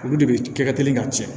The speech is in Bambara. Olu de bɛ kɛ ka teli ka cɛn